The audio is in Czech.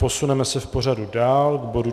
Posuneme se v pořadu dál, k bodu